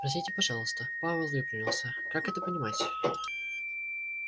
простите пожалуйста пауэлл выпрямился как это понимать